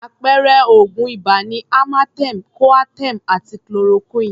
Àpẹẹrẹ oògùn ibà ni amartem, Coaterm àti Chloroquine.